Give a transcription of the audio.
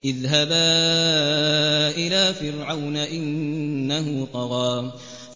اذْهَبَا إِلَىٰ فِرْعَوْنَ إِنَّهُ طَغَىٰ